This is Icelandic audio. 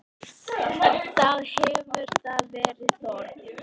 Þá hefur þar verið þorp.